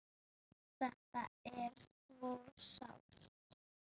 Þetta er svo sárt.